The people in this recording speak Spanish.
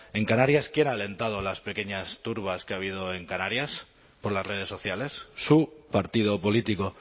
en canarias quién ha alentado a las pequeñas turbas que ha habido en canarias por las redes sociales su partido político